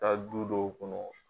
taa du dɔw kɔnɔ